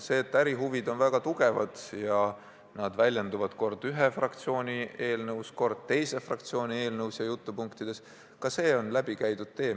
See, et ärihuvid on väga suured ja need väljenduvad kord ühe fraktsiooni eelnõus, kord teise fraktsiooni eelnõus ja jutupunktides, on läbikäidud tee.